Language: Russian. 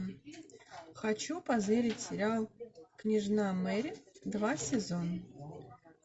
хочу позырить сериал княжна мэри два сезон